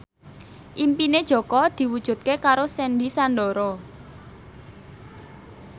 impine Jaka diwujudke karo Sandy Sandoro